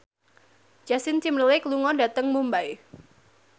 Justin Timberlake lunga dhateng Mumbai